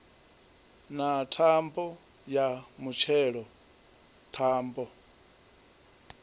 na thambo ya mutshelo thambo